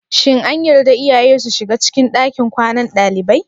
Shin an yarda iyaye su shiga cikin ɗakin kwanan dalibai?